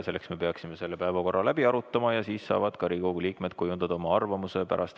Selleks me peaksime selle päevakorra läbi arutama ja siis saavad Riigikogu liikmed pärast ettekannet oma arvamuse kujundada.